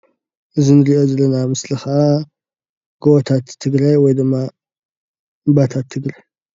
እዚ እንሪኦ ዘለና ምስሊ ከዓ ጎቦታት ትግራይ ወይ ድማ እምባታት ትግራይ።